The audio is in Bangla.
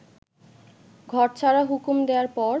ঘর ছাড়ার হুকুম দেওয়ার পর